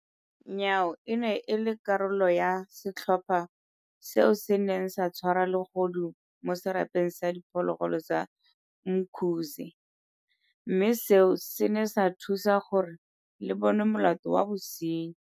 Nyawo e ne e le karolo ya setlhopha seo se neng sa tshwara legodu mo Serapeng sa Di phologolo sa Umkhuze, mme seo se ne sa thusa gore le bonwe molato wa bosenyi.